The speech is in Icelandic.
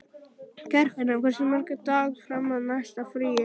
Geirfinna, hversu margir dagar fram að næsta fríi?